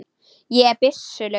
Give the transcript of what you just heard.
Ég er byssu laus.